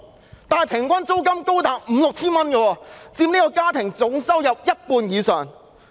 但是，"劏房"平均租金高達五六千元，佔家庭總收入一半以上。